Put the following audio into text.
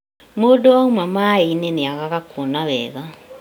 Mũndũ auma maaĩ-inĩ nĩagaga kuona wega